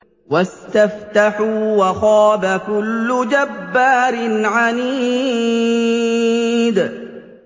وَاسْتَفْتَحُوا وَخَابَ كُلُّ جَبَّارٍ عَنِيدٍ